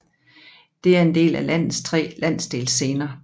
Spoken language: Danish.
Det er en af landets tre landsdelsscener